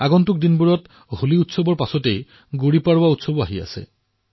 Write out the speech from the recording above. আগন্তুক দিনত হোলীৰ উৎসৱৰ ঠিক পিছতে গুড়ীপৰৱাও পালন কৰা হব